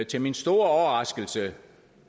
til min store overraskelse